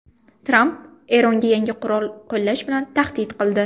Tramp Eronga yangi qurol qo‘llash bilan tahdid qildi.